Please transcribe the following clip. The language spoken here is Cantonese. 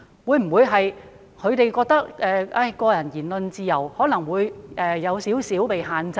他們會否覺得個人的言論自由或會稍為受到限制？